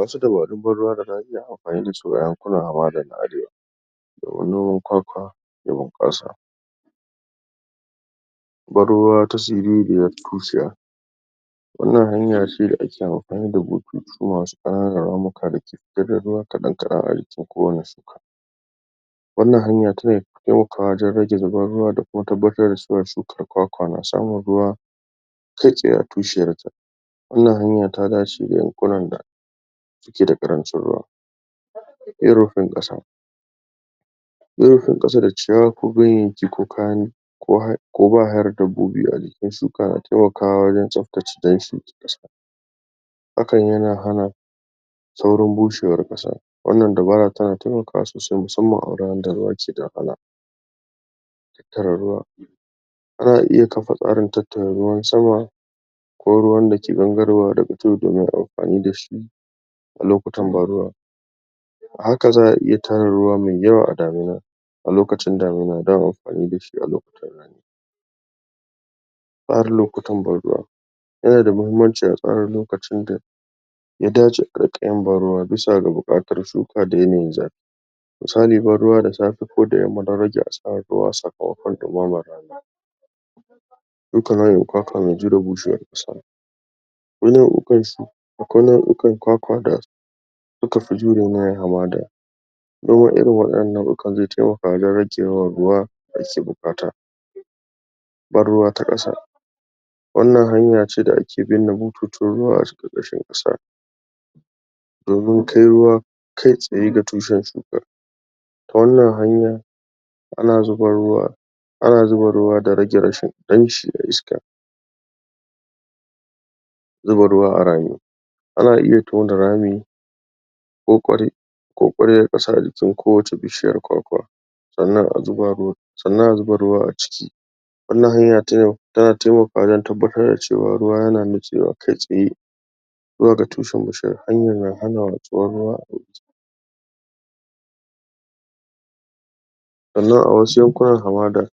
wasu dubaru na gargajiya ana amfani dasu a yankunan na arewa noman kwakwa ya bunƙasa. wannan hanyace da ake amfani da bututu masu ƙananan ramuka diga ruwa kaɗan kaɗan a jikin kowane wannan hanya tana taimakawa wajen rage zubar ruwa da kuma tabbatar da cewa shukar kwakwa na samun ruwa kaitsaye a tushiyar ta wannan hanya ta dace ga yankunan da suke da ƙarancin ruwa. irinfin ƙasa irifin ƙasa da ciyawa kube yanki koba hare dabbobi a jikin shuka na taimakawa wajen tsaftace hakan yana hana saurin bushewar ƙasa. wannan dabara tana taimakawa sosai musamman a wari wanda ruwa keda wahala tara ruwa za'a iya kafa tsarin tattara ruwan sama ko ruwan dake gangarowa daga tudu don yin amfani dashi a lokutan ban ruwa haka za'a iya tara ruwa mai yawa a damina a lokacin damina don amfani dashi a lokuta tsarin okutan ban ruwa yana da mahimmanci a tsara lokacin da ya dace a riƙa yin ban ruwa bisa ga buƙatar shuka da yanayin zafi misali ban ruwa da safe ko da yamma don rage asarar ruwa a sakamakon dumamar rani yana akwai nau'ukan kwakwa da sukafi jure yanayin hamada. noma irin wadannan nau'ukan zai rage yawan ruwa da ake buƙata ban ruwa ta ƙasa wannan hanyace da ake binne bututun ruwa a ƙarƙashin ƙasa domin kai ruwa kai tsaye ga tushen shuka. wannan hanyan ana zuba ruwa ana zuba ruwa da rage rashi damshi da iska zuba ruwa a rami ana iya tona rami ko ƙwaryar ƙasa a jikin ko wace bishiyar kwakwa sannan a zuba mai sannan a zuba ruwa a ciki wannan hanta tana taimakwa wajen tabbatar da cewa ruwa yana nutsewa kai tsaye zuwa ga tushen bishiya wannan na hana watsuwar ruwa a sannan a wasu yankunan hamada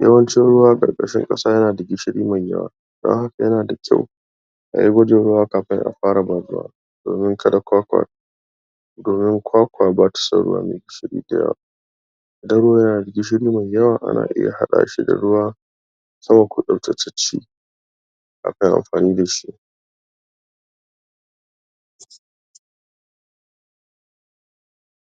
yawancin ruwa ƙarƙashin ƙasa yanada gishiri mai yawa dan haka yana da kyau ayi gwajin ruwa kafin a fara ban ruwa domin kada kwakwa domin kwakwa batason ruwa mai gishiri da yawa. idan ruwa yayi gishiri mai yawa ana iya haɗa shi da ruwa akan yi amfani dashi.